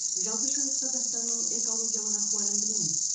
жалпы шығыс қазақстанның экологиялық ахуалын білеміз